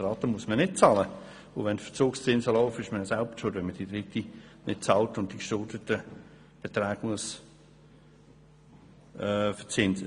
Die Raten muss man nicht bezahlen, und wenn Verzugszinse laufen, ist man selber schuld, wenn man die dritte Rate nicht bezahlt hat und die geschuldeten Zur Betreibung verzinst werden.